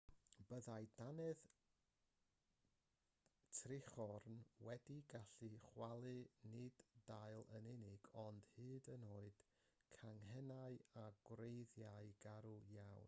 byddai dannedd trichorn wedi gallu chwalu nid dail yn unig ond hyd yn oed canghennau a gwreiddiau garw iawn